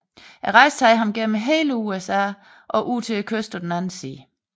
Rejsen tager ham gennem hele USA og ud til kysten på den anden side